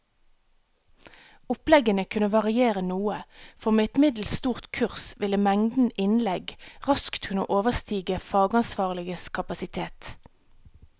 Oppleggene kunne variere noe, for med et middels stort kurs ville mengden innlegg raskt kunne overstige fagansvarliges kapasitet.